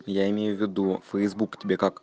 я имею в виду фейсбук тебе как